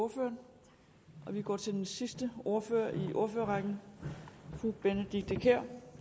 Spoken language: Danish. ordføreren vi går til den sidste ordfører i ordførerrækken fru benedikte kiær